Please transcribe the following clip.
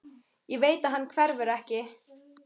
Ég veit að hann hverfur ekki.